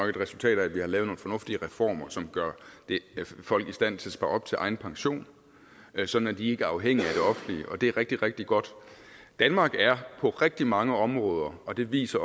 et resultat af at vi har lavet nogle fornuftige reformer som gør folk i stand til at spare op til egen pension sådan at de ikke er afhængige af det offentlige og det er rigtig rigtig godt danmark er på rigtig mange områder og det viser